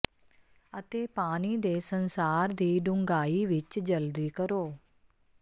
ਅਤੇ ਪਾਣੀ ਦੇ ਸੰਸਾਰ ਦੀ ਡੂੰਘਾਈ ਵਿੱਚ ਜਲਦੀ ਕਰੋ